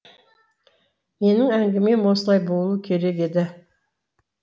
менің әңгімем осылай болуы керек еді